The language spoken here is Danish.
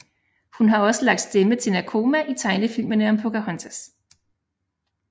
Hun har også lagt stemme til Nakoma i tegnefilmene om Pocahontas